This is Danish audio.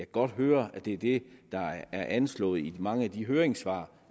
godt høre at det er det der er anslået i mange af de høringssvar